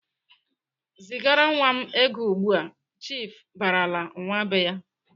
"Zigara nwa m ego ugbu!"Chiifu barala nwa be ya.